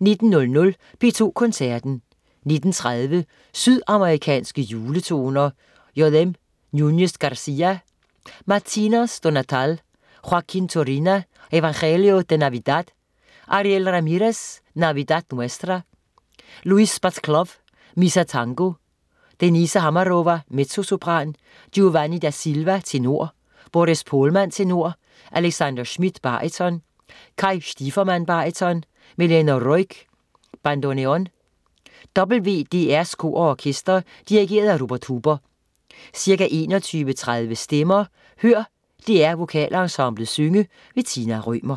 19.00 P2 Koncerten. 19.30 Sydamerikanske juletoner. J.M. Nunes Garcia: Matinas do Natal. Joaquín Turina: Evangelio de Navidad. Ariel Ramirez: Navidad Nuestra. Luis Bacalov: Misa Tango. Denisa Hamarova, mezzosopran. Giovanni da Silva, tenor. Boris Pohlman, tenor. Alexander Schmidt, baryton. Kay Stiefermann, baryton. Melena Ruegg, bandoneon. WDR's kor og orkester. Dirigent: Rupert Huber. Ca. 21.30 Stemmer. Hør DR VokalEnsemblet synge. Tina Rømer